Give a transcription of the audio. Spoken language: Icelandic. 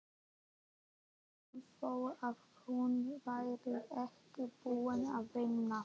Sama þó að hún væri ekki búin að vinna.